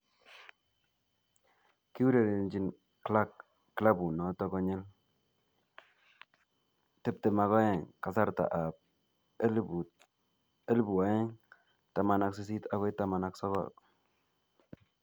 Kiurerenjin Clarke klabut noto konyil 22 kasarta ab 2018-19.